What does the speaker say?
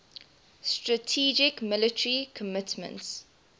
strategic military commitments